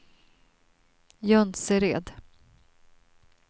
Jonsered